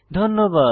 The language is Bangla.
ধন্যবাদ